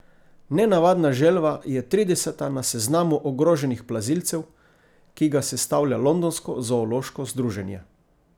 Nenavadna želva je trideseta na seznamu ogroženih plazilcev, ki ga sestavlja londonsko zoološko združenje.